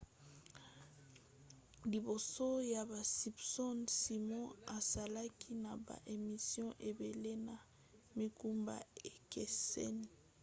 liboso ya basimpsons simon asalaki na ba émissions ebele na mikumba ekeseni